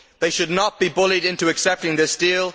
They should not be bullied into accepting this deal